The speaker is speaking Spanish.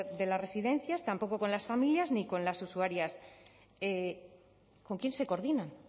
de las residencias tampoco con las familias ni con las usuarias con quién se coordinan